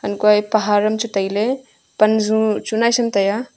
hankoe pahar am chu tailey panzu chu naisum tai aa.